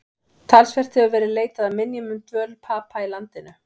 Talsvert hefur verið leitað að minjum um dvöl Papa í landinu.